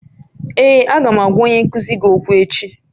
Ee, Aga m agwa onye nkuzi gị okwu echi